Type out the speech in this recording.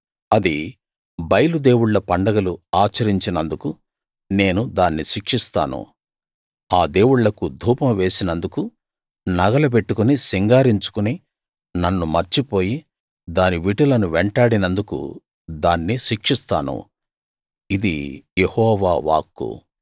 అది బయలు దేవుళ్ళ పండగలు ఆచరించినందుకు నేను దాన్ని శిక్షిస్తాను ఆ దేవుళ్ళకు ధూపం వేసినందుకు నగలు పెట్టుకుని సింగారించుకుని నన్ను మర్చిపోయి దాని విటులను వెంటాడినందుకు దాన్ని శిక్షిస్తాను ఇది యెహోవా వాక్కు